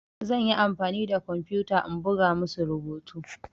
Zan yi amfani da kwamfuta in buga musu rubutu.